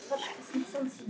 Þetta fellur vel í kramið.